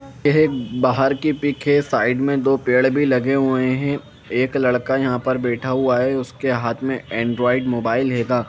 यह बाहर की पीक हे साइड में दो पेड़ भी लगे हुए हैं एक लड़का यहां पर बैठा हुआ है उसके हाथ में एंड्रॉयड मोबाइल हेगा।